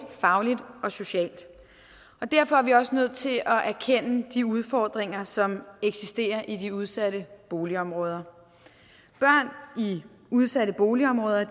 fagligt og socialt derfor er vi også nødt til at erkende de udfordringer som eksisterer i de udsatte boligområder børn i udsatte boligområder